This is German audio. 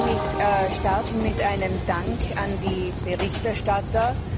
Lassen Sie mich starten mit einem Dank an die Berichterstatter!